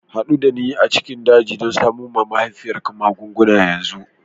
Haɗu da ni a cikin daji don samo wa mahaifiyarka magunguna yanzu!